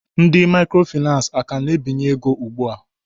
Ndị microfinace a ka na-ebinye ego ugbua?